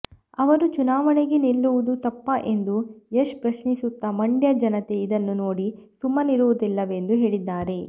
ಅವರು ಚುನಾವಣೆಗೆ ನಿಲ್ಲುವುದು ತಪ್ಪಾ ಎಂದು ಯಶ್ ಪ್ರಶ್ನಿಸುತ್ತಾ ಮಂಡ್ಯ ಜನತೆ ಇದನ್ನು ನೋಡಿ ಸುಮ್ಮನಿರುವುದಿಲ್ಲವೆಂದು ಹೇಳಿದ್ದಾರೆ